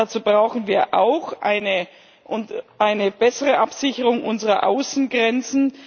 Dazu brauchen wir auch eine bessere Absicherung unserer Außengrenzen.